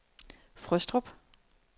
Frøstrup